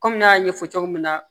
Kɔmi an y'a ɲɛfɔ cogo min na